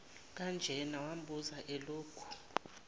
kanjena wambuza elokhu